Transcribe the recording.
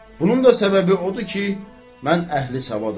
Bunun da səbəbi odur ki, mən əhli savadam.